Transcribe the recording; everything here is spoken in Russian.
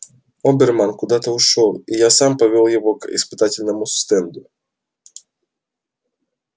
оберман куда-то ушёл и я сам повёл его к испытательному стенду